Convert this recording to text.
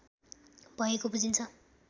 भएको बुझिन्छ